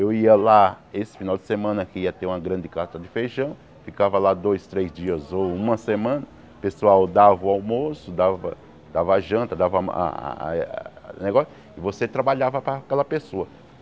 Eu ia lá, esse final de semana que ia ter uma grande carta de feijão, ficava lá dois, três dias ou uma semana, o pessoal dava o almoço, dava davaa janta, dava a a a o negócio, e você trabalhava para aquela pessoa.